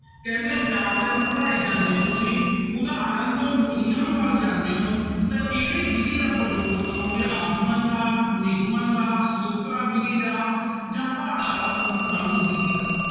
ਕਹਿੰਦੇ ਵਿਆਕਰਨ ਪੜ੍ਹਾਈ ਜਾਂਦੇ ਹੋ ਤੁਸੀਂ ਉਦਾਹਰਨ ਤੋਂ ਨਿਯਮ ਵੱਲ ਜਾਂਦੇ ਹੋ ਤਾਂ ਕਿਹੜੀ ਵਿੱਧੀ ਦਾ ਪ੍ਰਯੋਗ ਕਰੋਂਗੇ, ਆਗਮਨ ਦਾ ਨਿਗਮਨ ਦਾ ਸੂਤਰਾ ਵਿੱਧੀ ਦਾ ਜਾਂ ਭਾਸ਼ਾ ਵਿੱਧੀ ਦਾ।